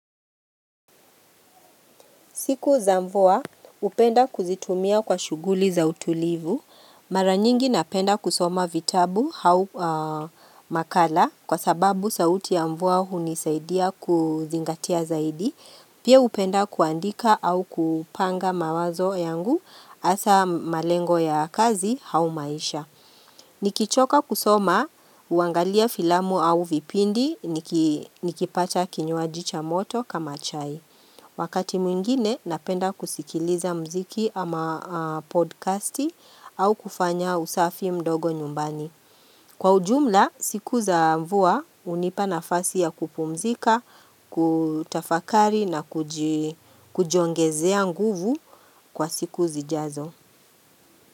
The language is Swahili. Siku za mvua, upenda kuzitumia kwa shuguli za utulivu. Mara nyingi napenda kusoma vitabu au makala kwa sababu sauti ya mvua hunisaidia kuzingatia zaidi. Pia upenda kuandika au kupanga mawazo yangu hasa malengo ya kazi au maisha. Nikichoka kusoma, uangalia filamu au vipindi, nikipata kinywaji cha moto kama chai. Wakati mwingine napenda kusikiliza mziki ama podcasti au kufanya usafi mdogo nyumbani. Kwa ujumla, siku za mvua unipa nafasi ya kupumzika, kutafakari na kujiongezea nguvu kwa siku zijazo.